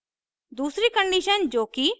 दूसरी condition जो कि